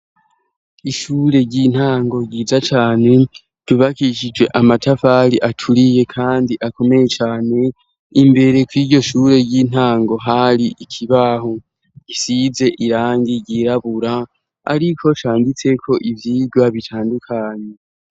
Ishure ry'intango ryiza cane ryubakishije amatafali aturiye, kandi akomeye cane imbere kw'iryo shure ry'intango hari ikibaho gisize irangi ryirabura, ariko canditseko ivyirwa bitandukanye.